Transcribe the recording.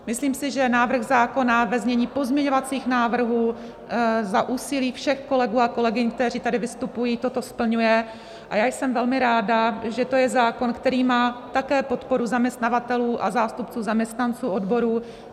Myslím si, že návrh zákona ve znění pozměňovacích návrhů za úsilí všech kolegů a kolegyň, kteří tady vystupují, toto splňuje, a já jsem velmi ráda, že to je zákon, který má také podporu zaměstnavatelů a zástupců zaměstnanců odborů.